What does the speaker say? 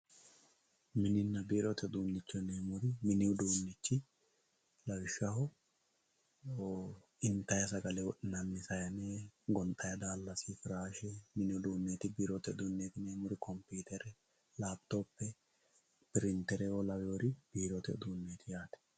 moninna birote udunicho yinemori mini udunichi lawishaho intayi sagale wodhinanni sane gonixanni dalasi biirote horosinanniti koputere lapitope pirinteo laweri birite uduneti yate